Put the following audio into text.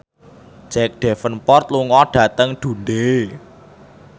Jack Davenport lunga dhateng Dundee